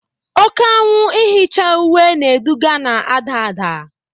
Oke anwụ ihicha uwe na-eduga na-ada ada